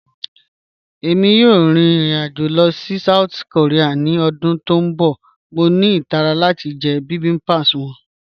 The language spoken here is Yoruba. Ẹ̀mi yòò rín irin-ajo lọ sí South Korea ni ọdún tó n bọ̀, mọ̀ ní itàrà láti jẹ̀ bibimbap wọn.